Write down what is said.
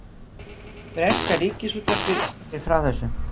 Breska ríkisútvarpið skýrir frá þessu